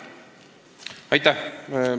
Aitäh!